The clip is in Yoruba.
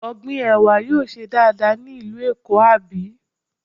Ọ̀gbìn Ẹ̀wà yóò ṣe dáadáa ní ìlú Èkó, àbí?